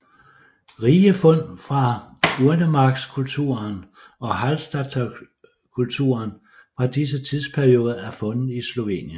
Rige fund fra urnemarkskulturen og Hallstattkulturen fra disse tidsperioder er fundet i Slovenien